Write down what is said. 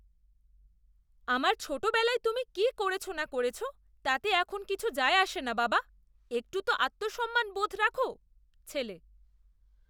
আমার ছোটবেলায় তুমি কি করেছ না করেছ তাতে এখন কিছু যায় আসে না, বাবা। একটু তো আত্মসম্মান বোধ রাখো! ছেলে